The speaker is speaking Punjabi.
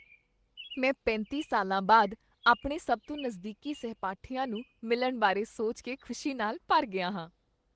ਮੈਂ ਪੈਂਤੀ ਸਾਲਾਂ ਬਾਅਦ ਆਪਣੇ ਸਭ ਤੋਂ ਨਜ਼ਦੀਕੀ ਸਹਿਪਾਠੀਆਂ ਨੂੰ ਮਿਲਣ ਬਾਰੇ ਸੋਚ ਕੇ ਖੁਸ਼ੀ ਨਾਲ ਭਰ ਗਿਆ ਹਾਂ।